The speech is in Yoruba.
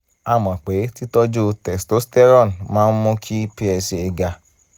a mọ̀ pé títọ́jú testosterone máa ń mú kí psa ga